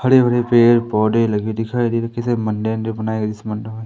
हरे भरे पेड़ पौधे लगे हुए दिखाई दे रहे है किसी मंदिर वंदिर बनाया गया जिस मंदिर में--